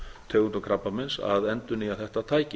tegundum krabbameins að endurnýja þetta tæki